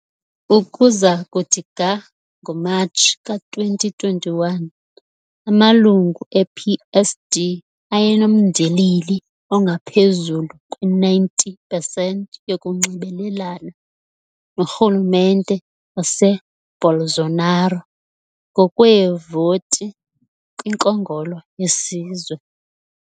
Ukuza kuthi ga ngoMatshi ka-2021, amalungu e-PSD ayenomndilili ongaphezulu kwe-90 pesenti yokunxibelelana norhulumente waseBolsonaro ngokweevoti kwiNkongolo yeSizwe.